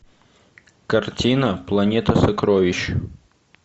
картина планета сокровищ